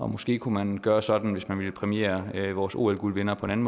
måske kunne man gøre det sådan hvis man ville præmiere vores ol guldvindere på en